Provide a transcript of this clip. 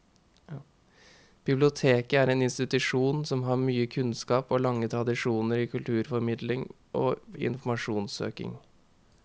Biblioteket er en institusjon som har mye kunnskap og lange tradisjoner i kulturformidling og informasjonssøking.